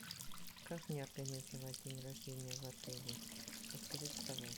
как мне организовать день рождения в отеле расскажите пожалуйста